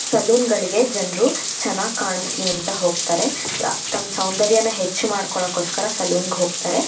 Salon ಗಳಿಗೆ ಜನರು ಚೆನ್ನಾಗ್ ಕಾಣಿಸಲಿ ಅಂತ ಹೋಗ್ತಾರೆ ಯ ತಮ್ ಸೌಂದರ್ಯನ ಹೆಚ್ಚು ಮಾಡಲೋಕೋಸ್ಕರ ಸಲೂನ್ ಹೋಗ್ತಾರೆ.